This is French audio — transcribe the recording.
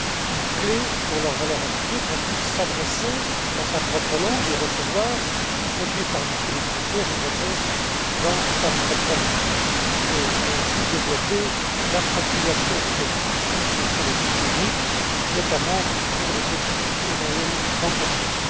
une clé pour leur valeur ajoutée, afin qu'on puisse s'adresser à eux dans sa propre langue et recevoir, y compris par delà les frontières, une réponse dans sa propre langue, et ainsi développer l'appropriation de cet outil que sont les guichets uniques, notamment pour les petites et moyennes entreprises.